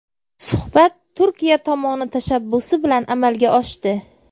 Suhbat Turkiya tomoni tashabbusi bilan amalga oshdi.